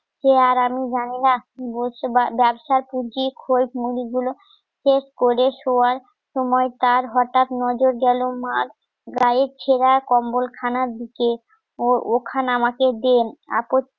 কে আর আমি জানি না ব্যবসার কুর্তি খোল মুড়ি গুলো চেক করে শোয়ার সময় তার হঠাৎ নজর গেল মার গায়ের ছেড়া কম্বল খানার দিকে ওর ওখানে আমাকে দেন আপত্তি,